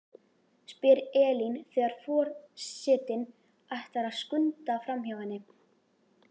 spyr Elín þegar for- setinn ætlar að skunda framhjá henni.